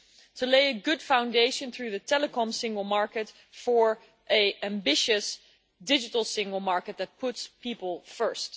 to lay a good foundation through the telecom single market for an ambitious digital single market that puts people first.